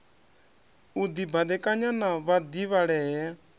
u dibadekanya na vhadivhalea e